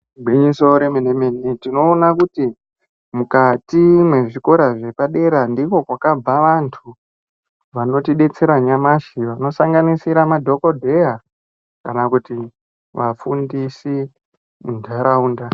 Gwinyiso remene-mene tinoona kuti mukati mwezvikora zvepadera ndiko kwakabva antu vanotidetsera nyamashi. Vanosanganisira madhogodheya kana kuti vafundisi muntaraunda.